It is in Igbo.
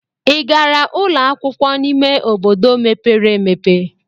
Ị gara ụlọ akwụkwọ n'ime obodo mepere emepe?